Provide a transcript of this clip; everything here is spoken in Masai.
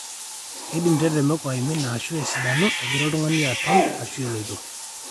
keidim tetemeko aimina ashuu asidanu egira oltung'ani aton ashuu eloito